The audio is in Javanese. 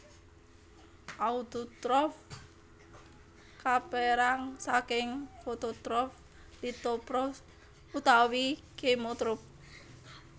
Autotrof kapérang saking fototrof lithotrophs utawi chemotrophs